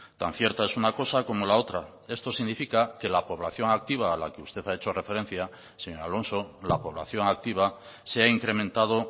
tan cierta es una cosa como la otra esto significa que la población activa a la que usted ha hecho referencia señor alonso la población activa se ha incrementado